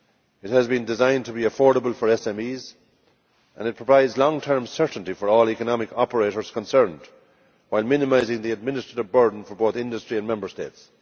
It has been designed to be affordable for SMEs and it provides long term certainty for all economic operators concerned, while minimising the administrative burden for both industry and Member States.